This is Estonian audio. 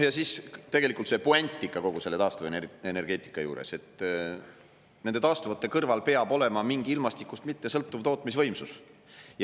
Ja siis on puänt kogu selle taastuvenergeetika juures: taastuvate kõrval peab olema mingi ilmastikust mittesõltuv tootmisvõimsus.